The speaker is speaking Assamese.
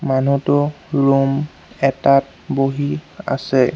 মানুহটো ৰুম এটাত বহি আছে।